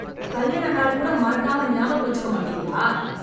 கல்யாண நாள் கூட மறக்காம ஞாபக வச்சுக்க மாட்டீங்களா?